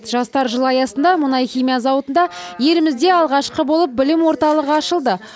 жастар жылы аясында мұнай химия зауытында елімізде алғашқы болып білім орталығы ашылды